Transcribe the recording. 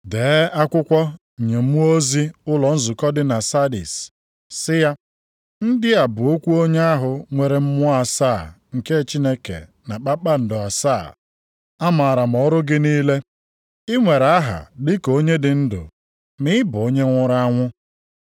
“Dee akwụkwọ nye mmụọ ozi ụlọ nzukọ dị na Sardis, sị ya: Ndị a bụ okwu onye ahụ nwere mmụọ asaa nke Chineke na kpakpando asaa. Amaara m ọrụ gị niile, ị nwere aha dịka onye dị ndụ ma ị bụ onye nwụrụ anwụ.